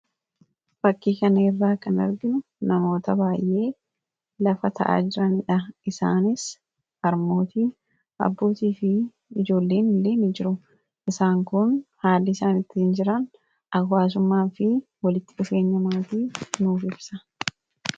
fakkii kaneerraa kan arginu namoota baay'ee lafa ta'a jiraniidha isaanis armootii abbootii fi ijoolleen ileemii jiru isaan kun haali isaanittii jiran akwaasumaa fi walitti qiseenyamaati noofefsa